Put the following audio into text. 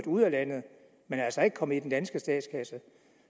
ud af landet men altså ikke er kommet i den danske statskasse